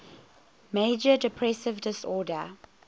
major depressive disorder